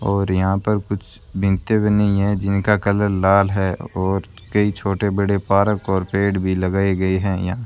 और यहां पर कुछ बिनते बनी हैं जिनका कलर लाल है और कई छोटे बड़े पार्क और पेड़ भी लगाए गए हैं यहां।